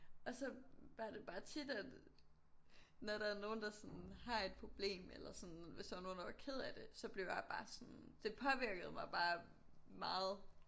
Og så var det bare tit at når der er nogen der sådan har et problem eller sådan hvis der var nogen der var kede af det så blev jeg bare sådan det påvirkede mig bare meget